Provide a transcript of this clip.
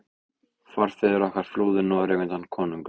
Forfeður okkar flúðu Noreg undan konungum.